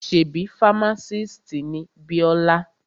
Ṣebí fámásìst ni Bíọ́lá?